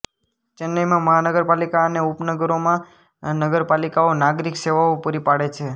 ચેન્નઈમાં મહાનગરપાલિકા અને ઉપનગરોમાં નગરપાલિકાઓ નાગરિક સેવાઓ પૂરી પાડે છે